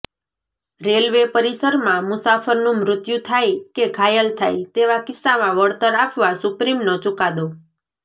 railway પરીસરમાં મુસાફરનું મૃત્યુ થાય કે ઘાયલ થાય તેવા કિસ્સામાં વળતર આપવા સુપ્રીમનો ચૂકાદો